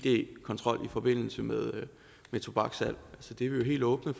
id kontrol i forbindelse med tobakssalg det er vi helt åbne